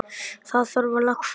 Það þarf að lagfæra þetta.